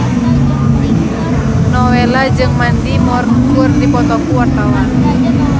Nowela jeung Mandy Moore keur dipoto ku wartawan